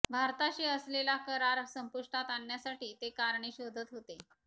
भारताशी असलेला करार संपुष्टात आणण्यासाठी ते कारणे शोधन होते